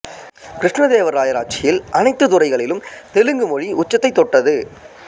கிருஷ்ணதேவராயர் ஆட்சியில் அனத்து துறைகளிலும் தெலுங்கு மொழி உச்சத்தை தொட்டது